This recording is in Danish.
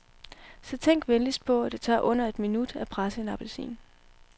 Så tænk venligst på, at det tager under et minut at presse en appelsin.